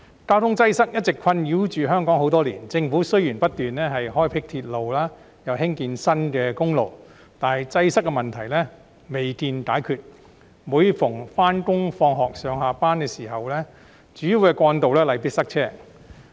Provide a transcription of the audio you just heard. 交通擠塞一直困擾香港多年，政府雖然不斷開闢鐵路，興建新的公路，但擠塞問題未見解決，每逢上學下課、上下班的繁忙時間，主要幹道例必塞車。